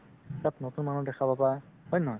তাত নতুন মানুহ দেখা পাবা হয় নে নহয়